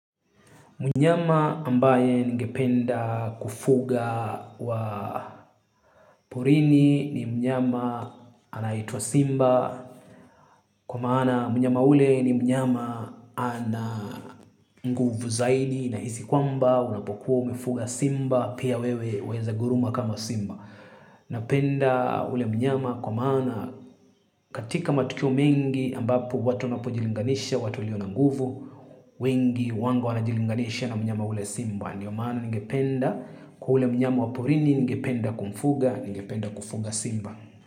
Mnyama ambaye ningependa kufuga wa porini ni mnyama anaitwa simba kwa maana mnyama ule ni mnyama ana nguvu zaidi na hizi kwamba unapokuwa umefuga simba pia wewe unaweza guruma kama simba. Na penda ule mnyama kwa maana katika matukio mengi ambapu watu wanapojilinganisha, watuwalio nanguvu, wengi, wango wanajilinganisha na mnyama ule simba. Ndiyo maana ningependa kwa ule mnyama waporini, ningependa kumfuga, ningependa kufuga simba.